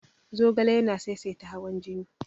Zogale yana saisaita hawan jini.